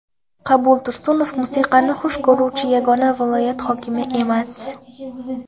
Qabul Tursunov musiqani xush ko‘ruvchi yagona viloyat hokimi emas.